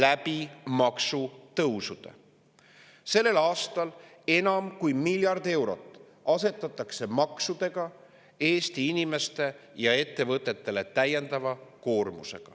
Sellel aastal asetatakse maksudega enam kui miljardi eurone täiendav koormus Eesti inimestele ja ettevõtetele.